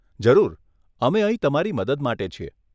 જરૂર, અમે અહીં તમારી મદદ માટે છીએ.